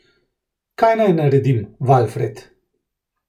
Kaj naj naredim, Valfred?